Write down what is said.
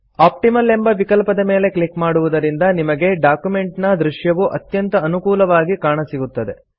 optimal ಎಂಬ ವಿಕಲ್ಪದ ಮೇಲೆ ಕ್ಲಿಕ್ ಮಾಡುವುದರಿಂದ ನಿಮಗೆ ಡಾಕ್ಯುಮೆಂಟಿನ ದೃಶ್ಯವು ಅತ್ಯಂತ ಅನುಕೂಲವಾಗಿ ಕಾಣಸಿಗುತ್ತದೆ